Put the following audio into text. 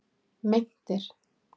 Meintir